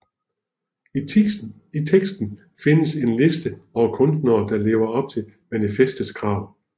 I teksten findes en liste over kunstnere der lever op til manifestets krav